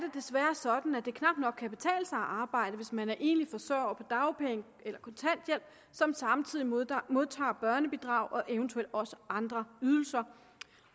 desværre sådan at det knap nok kan betale sig at arbejde hvis man er enlig forsørger på dagpenge eller kontanthjælp som samtidig modtager modtager børnebidrag og eventuelt også andre ydelser